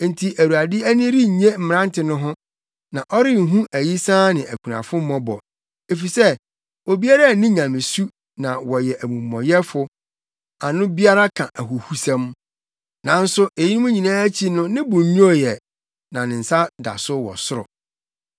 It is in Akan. Enti Awurade ani rennye mmerante no ho, na ɔrenhu ayisaa ne akunafo mmɔbɔ efisɛ, obiara nni nyamesu na wɔyɛ amumɔyɛfo, ano biara ka ahuhusɛm. Nanso eyinom nyinaa akyi no ne bo nnwoo ɛ, na ne nsa da so wɔ soro.